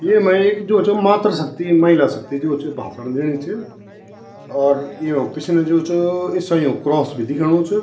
येमा एक जो च मात्र शक्ति महिला शक्ति जो च भाषण दिनी च और येमा पिछने जो च ईसाईयों क क्रॉस भी दिखेणु च।